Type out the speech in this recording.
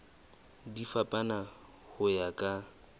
di fapana ho ya ka